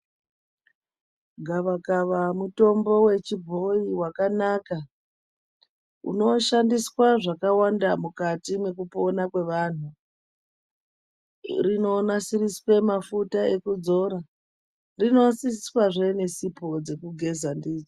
Gavakava mutombo wechibhoyi wakanaka unoshandiswa zvakawanda mukati mwekupona kwevanhu rinonasiriswe mafuta ekudzora rinonasiriswezve nesipo dzekugeza ndidzo.